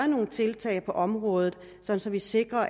nogle tiltag på området så så vi sikrer